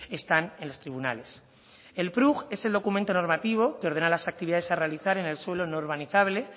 están en los tribunales el prug es el documento normativo que ordena las actividades a realizar en el suelo no urbanizable